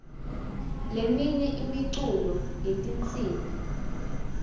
leminye imiculo yetinsimbi